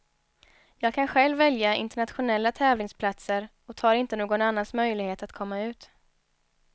Jag kan själv välja internationella tävlingsplatser och tar inte någon annans möjlighet att komma ut.